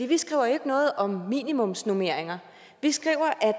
vi skriver ikke noget om minimumsnormeringer vi skriver at